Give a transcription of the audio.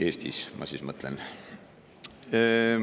Eestis, ma mõtlen.